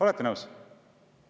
Olete nõus?